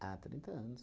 Ah, trinta anos.